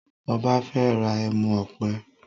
Ọba fè rà ẹmu òpè.